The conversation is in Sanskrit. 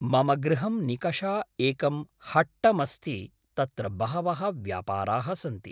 मम गृहं निकषा एकं हट्टमस्ति तत्र बहवः व्यापाराः सन्ति